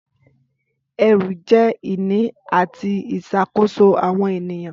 Ẹrú jẹ́ ìní àti ìṣàkóso àwọn ènìyàn.